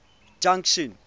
junction